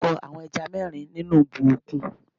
Dárúkọ àwọn ẹja mẹ́rin nínú ibú òkun?